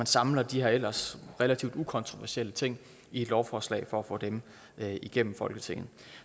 samler de her ellers relativt ukontroversielle ting i et lovforslag for at få dem igennem folketinget